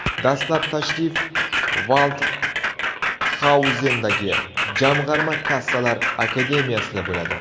Dastlab tashrif Valdxauzendagi Jamg‘arma kassalar akademiyasida bo‘ladi.